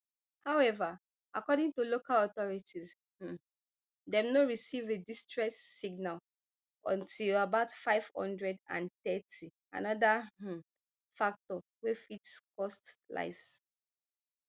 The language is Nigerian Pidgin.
however according to local authorities um dem no receive a distress signal until about five hundred and thirty anoda um factor wey fit don cost lives